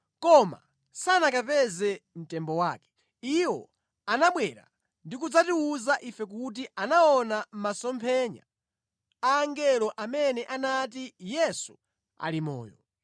koma sanakapeze mtembo wake. Iwo anabwera ndi kudzatiwuza ife kuti anaona masomphenya a angelo amene anati Yesu ali moyo.